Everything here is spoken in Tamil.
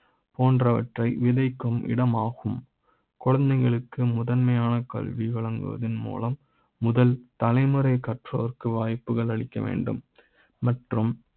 போன்றவற்றை விதை க்கும் இட மாகும் குழந்தைகளுக்கு முதன்மையான கல்வி வழங்குவதன் மூலம் முதல் தலைமுறை கற்றோர்க்கு வாய்ப்புகள் அளிக்க வேண்டும் மற்றும்